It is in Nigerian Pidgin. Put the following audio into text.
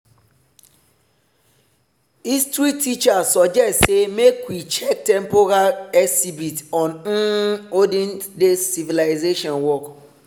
history teacher suggest say make we check temporary exhibit on um olden days civilization work.